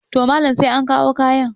to Malam sai an kawo kayan